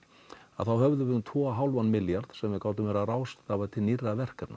þá höfðum við um tvo og hálfan milljað sem við gátum verið að ráðstafa til nýrra verkefna